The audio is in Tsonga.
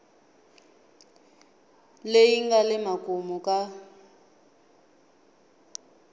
leyi nga le makumu ka